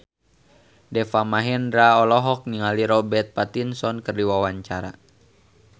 Deva Mahendra olohok ningali Robert Pattinson keur diwawancara